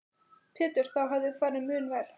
Pétur: Þá hefði farið mun verr?